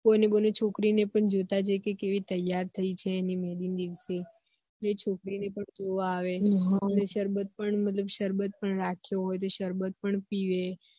એ બોને બોને છોકરી ને પણ જોતા જાયે કે કેવી ત્યાર થઇ છે અણી મેહદી ના દિવસી એ છોકરી ને પણ જોવા આવે હ સરબત પણ રાખ્યો હોય તો સરબત પણ પીવે